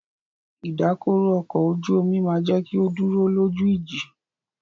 Ìdákọrò ọkọ̀ ojú omi máà jẹ́ kí o dúró lójú ìjì.